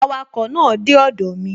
Awakọ̀ náà dé ọdọ̀ mi